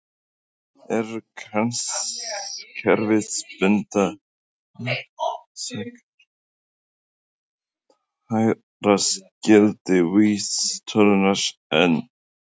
Eru kerfisbundnar skekkjur líklegar til að valda hærra gildi vísitölunnar en ella?